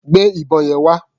Gbé ìbọn yẹn wá.